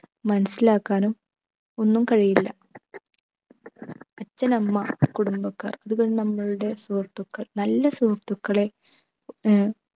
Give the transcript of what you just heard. മനസിലാക്കാനും ഒന്നും കഴിയില്ല അച്ഛനമ്മ കുടുംബക്കാർ പിന്നെ നമ്മളുടെ സുഹൃത്തുക്കൾ നല്ല സുഹൃത്തുക്കളെ ഏർ